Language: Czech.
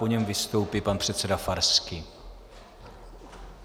Po něm vystoupí pan předseda Farský.